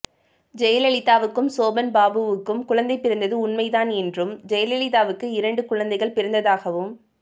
ஜெயலலிதாவுக்கும் சோபன்பாபுவுக்கும் குழந்தை பிறந்தது உண்மைதான் என்றும் ஜெயலலிதாவுக்கு இரண்டு குழந்தைகள் பிறந்ததாகவும்